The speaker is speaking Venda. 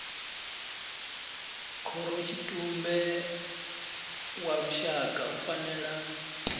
khorotshitumbe wa lushaka u fanela